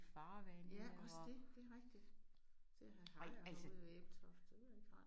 Ja også det det rigtigt. Til at have hajer ude i Ebeltoft det ikke rart